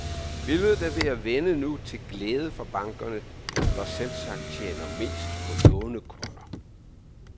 Billedet er ved at vende nu til glæde for bankerne, der selvsagt tjener mest på lånekunder.